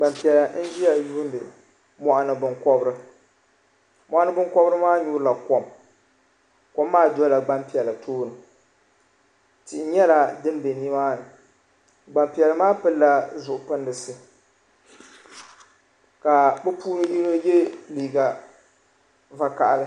gbaŋ' piɛla n-ʒiya yuundi mɔɣini binkɔbiri mɔɣini binkɔbiri maa nyuri la kom kom maa dola gbaŋ' piɛla tooni tihi nyɛla din be ni maa ni gbaŋ' piɛla maa pili la zuɣu pindisi ka bɛ puuni yino ye liiga vakaha li.